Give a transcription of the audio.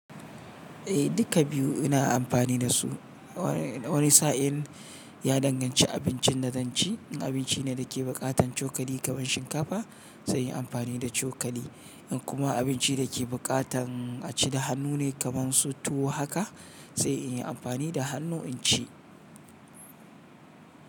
Eh dikka biyu ina amfani da su. Wani sa'in ya danganci abincin da zan ci. In abinci ne da ke buƙatan cokali kaman shinkafa sai in yi amfani da cokali. In kuma abinci da ke buƙatan a ci da hannu ne kaman su tuwo haka sai in yi amfani da hannu in ci.